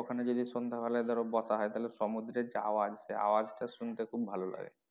ওখানে যদি সন্ধ্যা বেলায় ধরো বসা হয় তাহলে সমুদ্রের যে আওয়াজ সেই আওয়াজ টা শুনতে খুব ভালো লাগে।